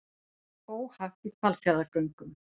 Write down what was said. Óhapp í Hvalfjarðargöngum